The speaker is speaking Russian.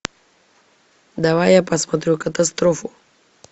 давай я посмотрю катастрофу